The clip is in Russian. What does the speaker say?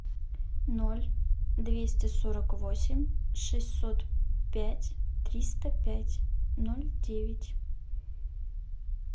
ноль двести сорок восемь шестьсот пять триста пять ноль девять